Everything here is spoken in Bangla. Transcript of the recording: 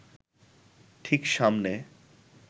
ঠিক সামনে